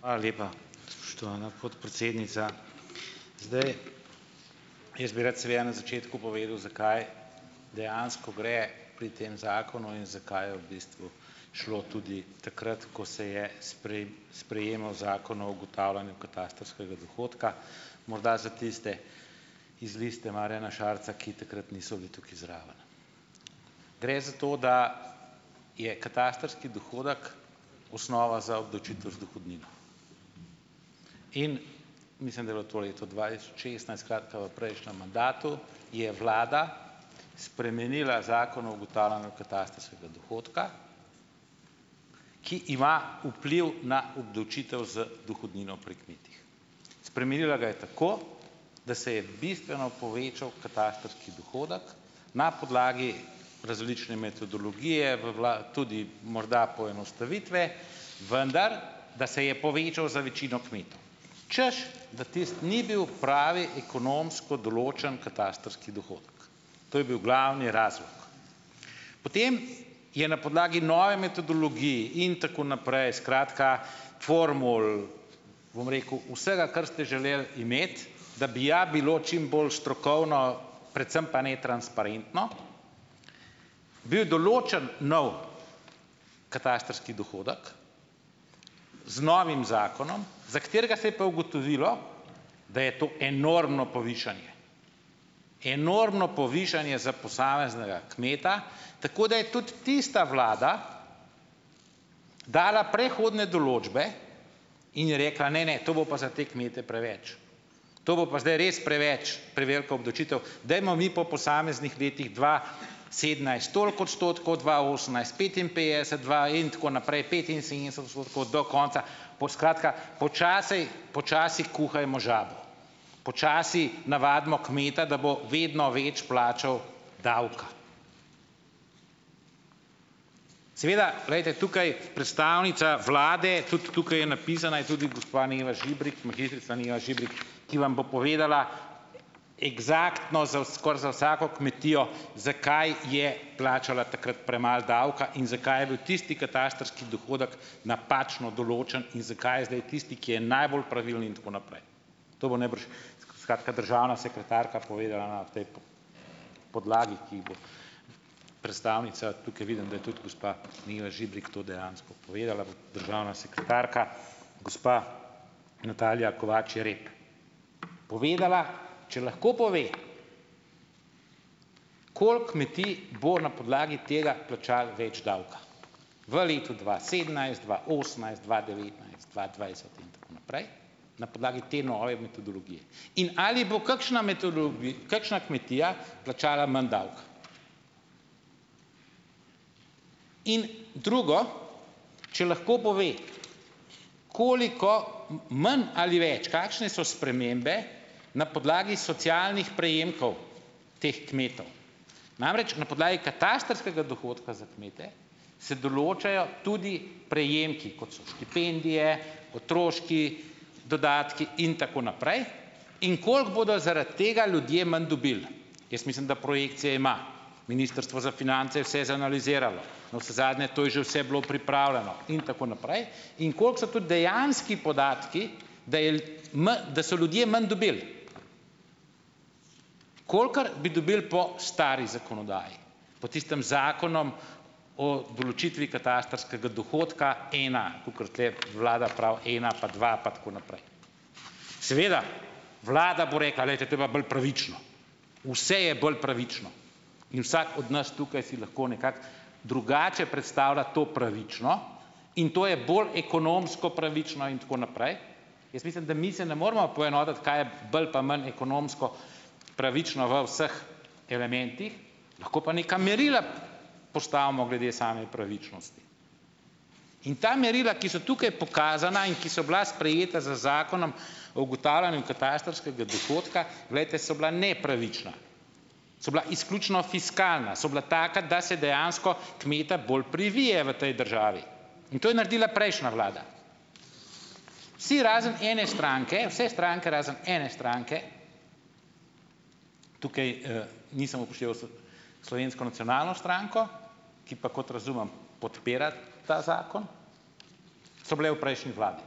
Hvala lepa, spoštovana podpredsednica. Zdaj, jaz bi rad seveda na začetku povedal, za kaj dejansko gre pri tem zakonu in za kaj je v bistvu šlo tudi takrat, ko se je sprejemal zakon o ugotavljanju katastrskega dohodka, morda za tiste iz Liste Marjana Šarca, ki takrat niso bili tukaj zraven. Gre za to, da je katastrski dohodek osnova za obdavčitev z dohodnino. In ... Mislim, da je bilo to leto dva tisoč šestnajst. skratka, v prejšnjem mandatu, je vlada spremenila zakon o ugotavljanju katastrskega dohodka, ki ima vpliv na obdavčitev z dohodnino pri kmetih. Spremenila ga je tako, da se je bistveno povečal katastrski dohodek, na podlagi različne metodologije, v tudi morda poenostavitve, vendar da se je povečal za večino kmetov, češ da tisto ni bil pravi ekonomsko določen katastrski dohodek, to je bil glavni razlog. Potem je na podlagi nove metodologije in tako naprej, skratka, formul, bom rekel, vsega, kar ste želeli imeti, da bi ja bilo čim bolj strokovno, predvsem pa netransparentno, bil določen nov katastrski dohodek z novim zakonom, za katerega se je pa ugotovilo, da je to enormno povišanje, enormno povišanje za posameznega kmeta. Tako da je tudi tista vlada dala prehodne določbe in je rekla: "Ne, ne, to bo pa za te kmete preveč, to bo pa zdaj res preveč, prevelika obdavčitev, dajmo mi po posameznih letih, dva sedemnajst toliko odstotkov, dva osemnajst petinpetdeset, dva in tako naprej, petinsedemdeset odstotkov, do konca ..." Skratka, počasi počasi kuhajmo žabo, počasi navadimo kmeta, da bo vedno več plačal davka. Seveda, glejte, tukaj predstavnica vlade - tudi tukaj je napisana je tudi -, gospa Neva Žibrik, magistrica Neva Žibrik, ki vam bo povedala eksaktno za skoraj za vsako kmetijo, zakaj je plačala takrat premalo davka in zakaj je bil tisti katastrski dohodek napačno določen in zakaj je zdaj tisti, ki je najbolj pravilni, in tako naprej. To bo najbrž, skratka, državna sekretarka povedala na tej podlagi, ki bo predstavnica tukaj - vidim, da je tudi gospa Neva Žibrik to dejansko povedala, državna sekretarka, gospa Natalija Kovač Jereb, povedala. Če lahko pove, koliko kmetij bo na podlagi tega plačalo več davka, v letu dva sedemnajst, dva osemnajst, dva devetnajst, dva dvajset in tako naprej, na podlagi te nove metodologije, in ali bo kakšna kakšna kmetija plačala manj davka. In drugo, če lahko pove, koliko manj ali več, kakšne so spremembe na podlagi socialnih prejemkov teh kmetov. Namreč, na podlagi katastrskega dohodka za kmete se določajo tudi prejemki, kot so štipendije, otroški dodatki in tako naprej, in koliko bodo zaradi tega ljudje manj dobili. Jaz mislim, da projekcije ima ministrstvo za finance je vse zanaliziralo, navsezadnje to je že vse bilo pripravljeno, in tako naprej. In koliko so tudi dejanski podatki, da je manj da so ljudje manj dobili, kolikor bi dobili po stari zakonodaji, po tistem zakonu o določitvi katastrskega dohodka. Ena, kakor tule vlada pravi, ena pa dva pa tako naprej. Seveda, vlada bo rekla: "Glejte, to je pa bolj pravično." Vse je bolj pravično in vsak od nas tukaj si lahko nekako drugače predstavlja to pravično, in to je bolj ekonomsko pravično in tako naprej. Jaz mislim, da mi se ne moremo poenotiti, kaj je bolj pa manj ekonomsko pravično v vseh elementih, lahko pa neka merila postavimo glede same pravičnosti. In ta merila, ki so tukaj pokazana in ki so bila sprejeta z zakonom o ugotavljanju katastrskega dohodka, glejte, so bila nepravična, so bila izključno fiskalna, so bila taka, da se dejansko kmeta bolj privije v tej državi. In to je naredila prejšnja vlada. Vsi razen ene stranke, vse stranke, razen ene stranke - tukaj, nisem upošteval Slovensko nacionalno stranko, ki pa, kot razumem, podpira ta zakon -, so bile v prejšnji vladi.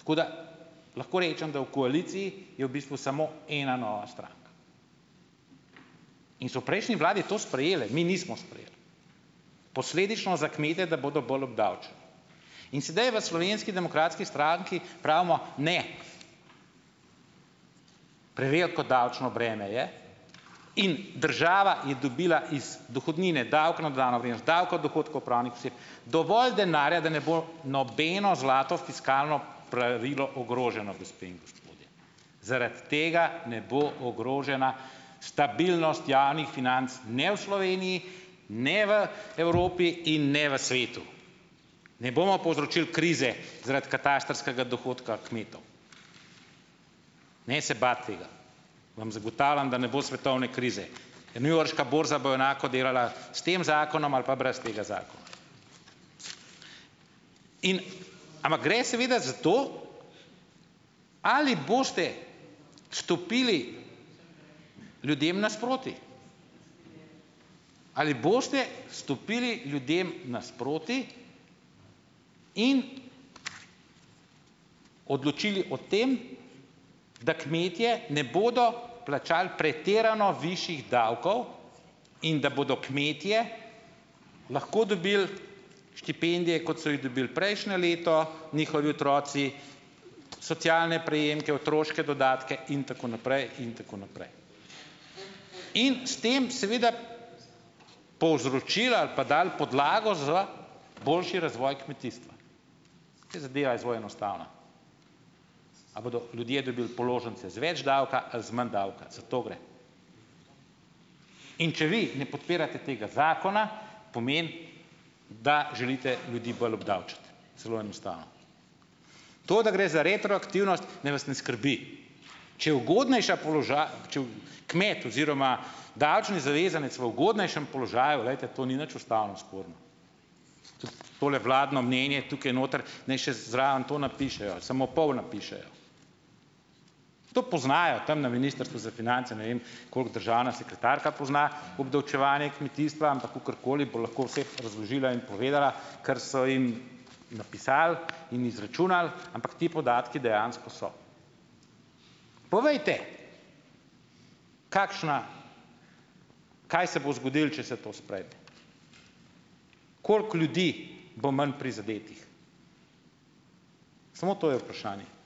Tako da lahko rečem, da v koaliciji je v bistvu samo ena nova stranka. In so v prejšnji vladi to sprejele, mi nismo sprejeli. Posledično za kmete, da bodo bolj obdavčeni, in sedaj v Slovenski demokratski stranki pravimo, ne, preveliko davčno breme je in država je dobila iz dohodnine, davek na dodano vrednost, davek od dohodkov pravnih oseb dovolj denarja, da ne bo nobeno zlato fiskalno pravilo ogroženo, gospe in gospodje. Zaradi tega ne bo ogrožena stabilnost javnih financ, ne v Sloveniji, ne v Evropi in ne v svetu. Ne bomo povzročili krize zaradi katastrskega dohodka kmetov. Ne se bati tega, vam zagotavljam, da ne bo svetovne krize, e newyorška borza bo enako delala s tem zakonom ali pa brez tega zakona. In ... Ampak gre seveda za to, ali boste stopili ljudem nasproti? Ali boste stopili ljudem nasproti in odločili o tem, da kmetje ne bodo plačali pretirano višjih davkov in da bodo kmetje lahko dobili štipendije, kot so jih dobili prejšnje leto njihovi otroci, socialne prejemke, otroške dodatke in tako naprej in tako naprej, in s tem seveda povzročili ali pa dali podlago za boljši razvoj kmetijstva. Saj zadeva je zelo enostavna, ali bodo ljudje dobili položnice z več davka ali z manj davka, za to gre. In če vi ne podpirate tega zakona, pomeni, da želite ljudi bolj obdavčiti. Zelo enostavno. To, da gre za retroaktivnost, naj vas ne skrbi. Če ugodnejša če kmet oziroma davčni zavezanec v ugodnejšem položaju, glejte, to ni nič ustavno sporno. Tudi tole vladno mnenje tukaj noter, ne, še zraven to napišejo, samo pol napišejo. To poznajo tam na ministrstvu za finance, ne vem, koliko državna sekretarka pozna obdavčevanje kmetijstva, ampak kakorkoli bo lahko vse razložila in povedala, kar so jim napisali in izračunali, ampak ti podatki dejansko so. Povejte, kakšna, kaj se bo zgodilo, če se to sprejme? koliko ljudi bo manj prizadetih? Samo to je vprašanje.